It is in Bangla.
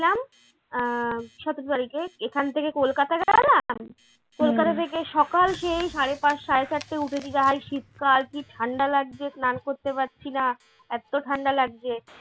আহ সতেরো তারিখে এখান থেকে কলকাতা গেলাম কলকাতা থেকে সকাল সেই সাড়ে পাঁচ সাড়ে চারটায় উঠেছি যা শীতকাল কী ঠান্ডা লাগছে স্নান করতে পারছি না এত ঠান্ডা লাগছে।